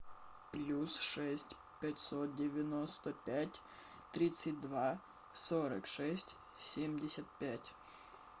плюс шесть пятьсот девяносто пять тридцать два сорок шесть семьдесят пять